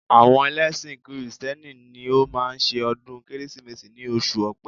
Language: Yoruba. Àwọn ẹlẹ́ṣin kìrìsìtẹ́nì ni ó máa ń ṣe ọdún Kérésìmesì ní oṣù ọ̀pẹ